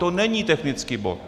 To není technický bod.